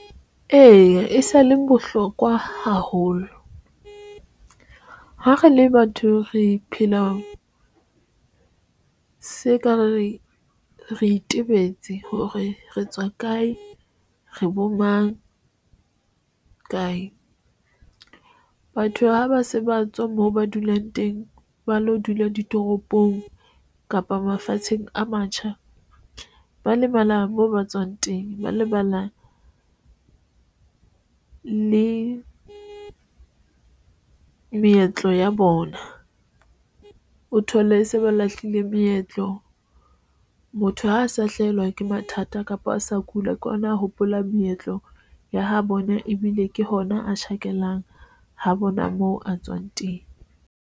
Eya, e sa le bohlokwa haholo ha re le batho, re phela, se ekare re itebetse hore re tswa kae, re bo mang, kae. Batho ha ba se ba tswa moo ba dulang teng, ba lo dula ditoropong kapa mafatsheng a matjha, ba lemala moo ba tswang teng, ba lebala le meetlo ya bona o thole se ba lahlile meetlo. Motho ha a sa hlahelwa ke mathata kapa a sa kula, ke ona a hopola meetlo ya ha bona ebile ke hona a tjhakelang ha bona moo a tswang teng.